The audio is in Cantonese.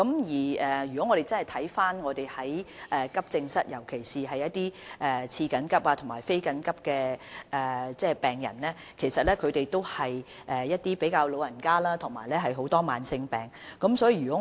使用急症室服務的病人，尤其是被列為次緊急及非緊急的病人，其實均是一些年長及患有慢性疾病的市民。